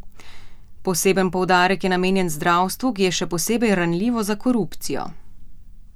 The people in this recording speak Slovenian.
Poseben poudarek je namenjen zdravstvu, ki je še posebej ranljivo za korupcijo.